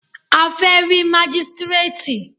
A fẹ́ rí mágístrètì.